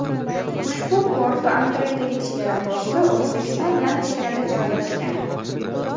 Ushbu port va Amudaryodagi chegara posti O‘zbekiston bilan chegarada joylashgan.